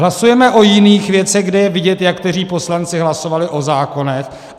Hlasujeme o jiných věcech, kde je vidět, jak kteří poslanci hlasovali o zákonech.